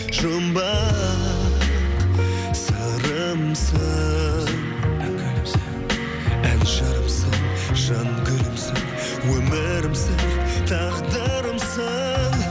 жұмбақ сырымсың ән жырымсың жан гүлімсің өмірімсің тағдырымсың